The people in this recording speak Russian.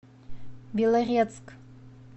белорецк